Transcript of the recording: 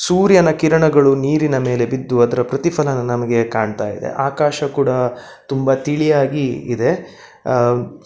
ಸೂರ್ಯನ ಕಿರಣಗಳು ನೀರಿನ ಮೇಲೆ ಬಿದ್ದು ಅದರ ಪ್ರತಿಫಲನ ನಮಗೆ ಕಾಣ್ತಾ ಇದೆ ಆಕಾಶ ಕೂಡ ತುಂಬ ತಿಳಿಯಾಗಿ ಇದೆ. ಅಹ್ --